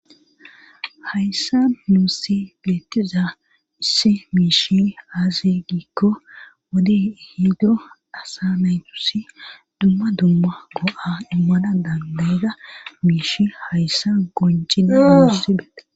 hayssa muusi geetiza isse miishi aazi giikko wode ehido asa naytusi dumma dumma go7a immana dandayza miishi hayssa gonjine asidee